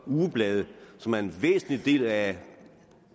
ugeblade som er en væsentlig del af